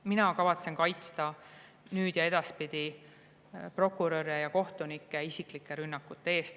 Mina kavatsen kaitsta nüüd ja edaspidi prokuröre ja kohtunikke isiklike rünnakute eest.